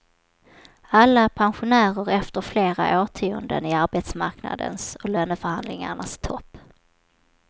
Alla är pensionärer efter flera årtionden i arbetsmarknadens och löneförhandlingarnas topp.